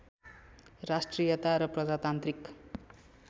राष्ट्रियता र प्रजातान्त्रिक